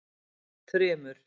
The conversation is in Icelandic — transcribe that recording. Þrymur